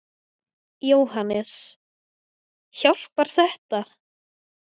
Jóhannes: Hjálpar þetta?